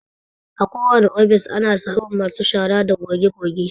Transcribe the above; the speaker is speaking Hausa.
Akowane ofis ana samun masu shara da goge-goge.